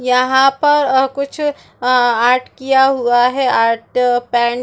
यहाँ पर और कुछ आ आर्ट किया हुआ है आर्ट पेंट --